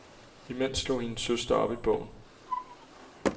Imens slog hendes søster op i bogen.